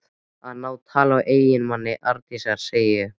Að ná tali af eiginmanni Arndísar, segi ég.